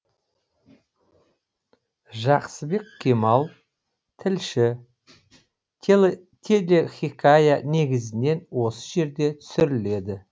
жақсыбек кемал тілші телехикая негізінен осы жерде түсіріледі